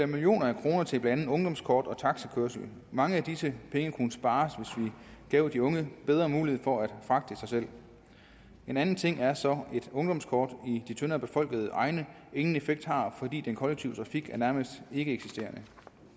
millioner af kroner til blandt andet ungdomskort og taxakørsel mange af disse penge kunne spares hvis vi gav de unge bedre mulighed for at fragte sig selv en anden ting er så et ungdomskort i de tyndere befolkede egne ingen effekt har fordi den kollektive trafik er nærmest ikkeeksisterende